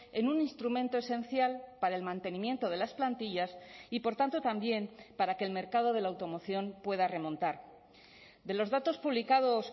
en un instrumento esencial para el mantenimiento de las plantillas y por tanto también para que el mercado de la automoción pueda remontar de los datos publicados